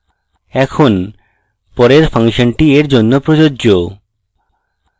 এখন পরের ফাংশনটি এর জন্য প্রযোজ্য